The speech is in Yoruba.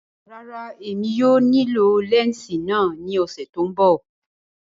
Rárá, Emi kii yóò nilo lẹnsi náa ni ọsẹ to nbọ.